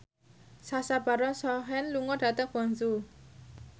Sacha Baron Cohen lunga dhateng Guangzhou